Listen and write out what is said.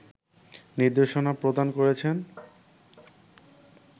নির্দেশনা প্রদান করেছেন